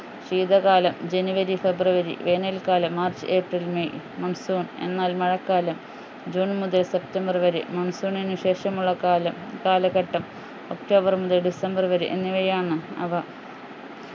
ശീതകാലം ജനുവരി ഫെബ്രുവരി വേനൽക്കാലം മാർച്ച് ഏപ്രിൽ മെയ് monsoon എന്നാൽ മഴക്കാലം ജൂൺ മുതൽ സെപ്റ്റംബർ വരെ monsoon നു ശേഷമുള്ള കാലം കാലഘട്ടം ഒക്ടോബർ മുതൽ ഡിസംബർ വരെ എന്നിവയാണ് അവ